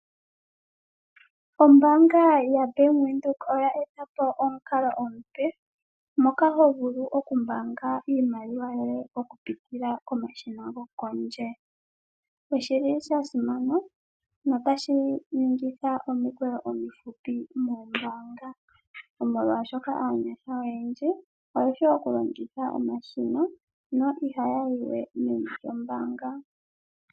Ombaanga yaBank Windhoek oya eta po omukalo omupe moka ho vulu okumbaanga iimaliwa yoye okupitila momashina gopondje. Osha simana notashi ningitha omikweyo omifupi moombaanga, molwashoka aanyasha oyendji oye shi okulongitha omashina na ihaya yi we meni lyombaanga.